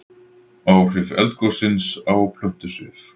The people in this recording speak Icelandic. Áhrif eldgossins á plöntusvif